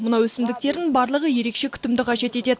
мына өсімдіктердің барлығы ерекше күтімді қажет етеді